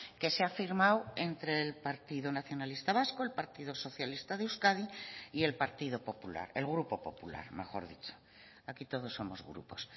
que se ha firmado entre el partido nacionalista vasco el partido socialista de euskadi y el partido popular el grupo popular mejor dicho aquí todos somos grupos